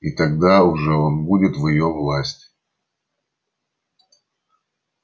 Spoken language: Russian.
и тогда уже он будет в её власти